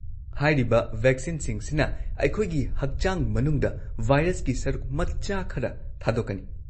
ꯍꯥꯏꯔꯤꯕ ꯚꯦꯛꯁꯤꯟꯁꯤꯡ ꯁꯤꯅ ꯑꯩꯈꯣꯏꯒꯤ ꯍꯛꯆꯥꯡ ꯃꯅꯨꯡꯗ ꯚꯥꯏꯔꯁꯀꯤ ꯁꯔꯨꯛ ꯃꯆꯥ ꯈꯔ ꯊꯥꯗꯣꯛꯀꯅꯤ꯫